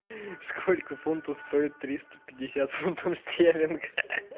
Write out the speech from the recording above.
сколько фунтов стоит триста пятьдесят фунтов стерлингов